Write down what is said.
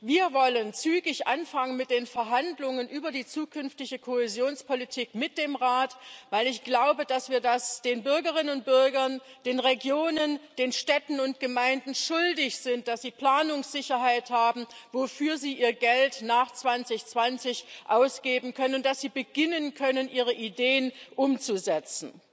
Wir wollen zügig anfangen mit den Verhandlungen über die zukünftige Kohäsionspolitik mit dem Rat, weil ich glaube, dass wir es den Bürgerinnen und Bürgern, den Regionen, den Städten und Gemeinden schuldig sind, dass sie Planungssicherheit haben, wofür sie ihr Geld nach 2020 ausgeben können, und dass sie beginnen können, ihre Ideen umzusetzen.